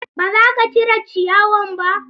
Ba za ka cire ciyawan ba?